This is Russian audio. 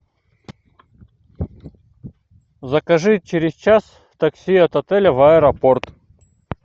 закажи через час такси от отеля в аэропорт